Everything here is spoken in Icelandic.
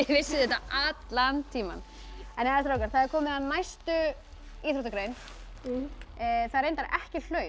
vissuð þetta allan tímann jæja strákar það er komið að næstu íþróttagrein það er reyndar ekki hlaup